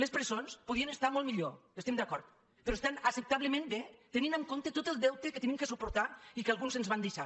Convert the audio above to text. les presons podrien estar molt millor hi estem d’acord però estan acceptablement bé tenint en comp·te tot el deute que hem de suportar i que alguns ens van deixar